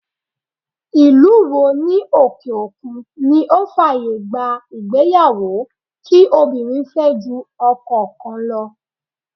Ìlú wo ní òkè òkun ni ó fàyè gba ìgbéyàwó kí obìnrin fẹ́ ju ọkọ kan lọ.